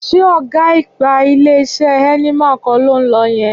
Ṣé ọ̀gá àgbà ilé-iṣẹ́ Heineman kọ́ ló ń lọ yẹn?